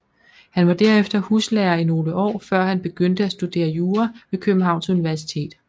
Han var derefter huslærer i nogle år før han begyndte at studere jura ved Københavns Universitet